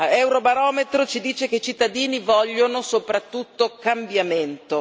Eurobarometro ci dice che i cittadini vogliono soprattutto cambiamento.